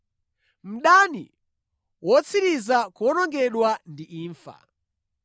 Mdani wotsiriza kuwonongedwa ndi imfa.